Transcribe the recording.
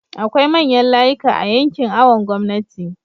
akwai manyan layika a yankin awon gomnati